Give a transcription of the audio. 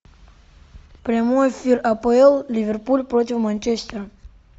прямой эфир апл ливерпуль против манчестера